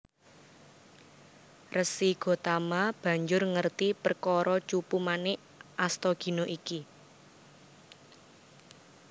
Resi Gotama banjur ngerti perkara Cupu Manik Astagina iki